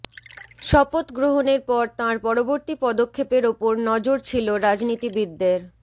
শপথ গ্রহণের পর তাঁর পরবর্তী পদক্ষেপের ওপর নজর ছিল রাজনীতিবিদদের